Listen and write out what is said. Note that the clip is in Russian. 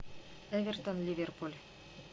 эвертон ливерпуль